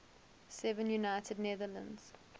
seven united netherlands